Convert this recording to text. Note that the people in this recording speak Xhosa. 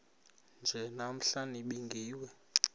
nje namhla nibingiwe